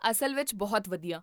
ਅਸਲ ਵਿੱਚ, ਬਹੁਤ ਵਧੀਆ